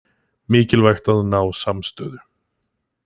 Mikilvægt að ná samstöðu